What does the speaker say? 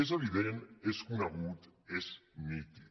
és evident és conegut és nítid